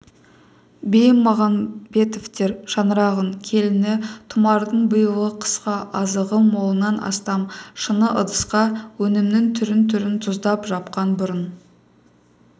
бимағанбетовтер шаңырағының келіні тұмардың биылғы қысқа азығы молынан астам шыны ыдысқа өнімнің түр-түрін тұздап жапқан бұрын